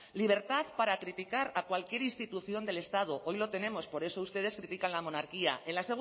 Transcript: libertad para criticar a cualquier institución del estado hoy lo tenemos por eso ustedes critican la monarquía en la